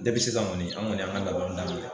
Depi kɔni an kɔni y'an ka labɛnw daminɛ